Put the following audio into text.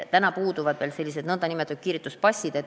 Täna puuduvad veel nn kiirituspassid.